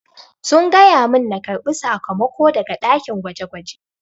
Sun gaya mun na karbi sakamako daga dakin gwaje-gwaje.